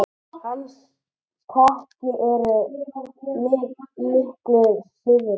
Hans tæki eru miklu síðri.